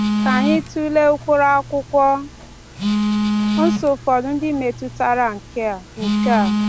Ka anyị tụlee ụkpụrụ Akwụkwọ Nsọ ụfọdụ ndị metụtara nke a. nke a.